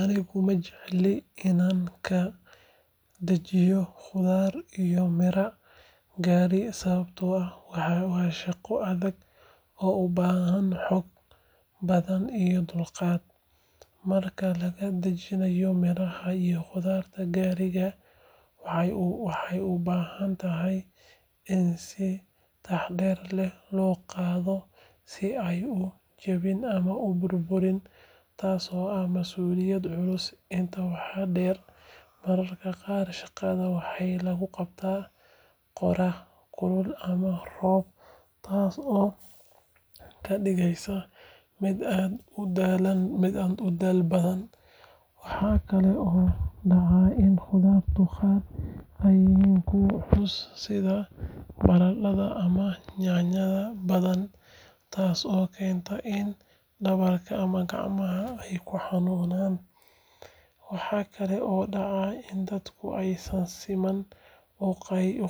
Anigu ma jecli inaan ka dajiyo khudradda iyo miraha gaariga sababtoo ah waa shaqo adag oo u baahan xoog badan iyo dulqaad. Marka laga dajinayo miraha iyo khudradda gaariga, waxay u baahan tahay in si taxaddar leh loo qabto si aanay u jabin ama u burburin, taasoo ah masuuliyad culus. Intaa waxaa dheer, mararka qaar shaqada waxaa lagu qabtaa qorrax kulul ama roob, taasoo ka dhigaysa mid aad u daal badan. Waxaa kale oo dhacda in khudradda qaar ay yihiin kuwo culus sida baradhada ama yaanyada badan, taasoo keenta in dhabarka ama gacmaha ay xanuunaan. Waxa kale oo dhacda in dadku aysan si siman u